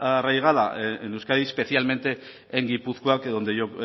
arraigada en euskadi especialmente en gipuzkoa que donde yo